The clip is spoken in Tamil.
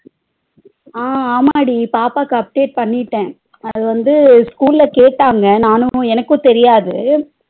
அஹ் ஆமாடி பாப்பாக்கு update பண்ணிட்ட அதுவந்து school ல கேட்டாங்க நானும் எனக்கும் தெரியாது